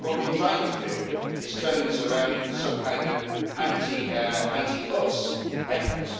I think what you're trying to do is turn this around into some kind of anti us' effort.